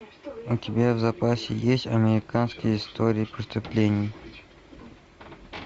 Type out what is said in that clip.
у тебя в запасе есть американские истории преступлений